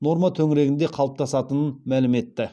норма төңірегінде қалыптасатынын мәлім етті